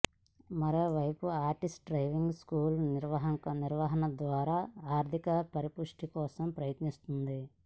మరోవైపు RTC driving స్కూళ్ల నిర్వహణ ద్వారా ఆర్థిక పరిపుష్టి కోసం ప్రయత్నిస్తోంది